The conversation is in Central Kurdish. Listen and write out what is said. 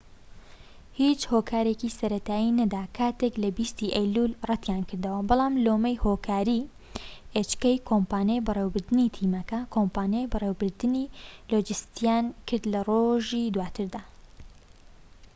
کۆمپانیای بەڕێوەبردنی تیمەکە کۆمپانیای بەڕێوەبردنی hk هیچ هۆکارێکی سەرەتایی نەدا کاتێک لە 20ی ئەیلولی ڕەتیانکردەوە بەڵام لۆمەی هۆکاری لۆجستیان کرد لە ڕۆژی دواتردا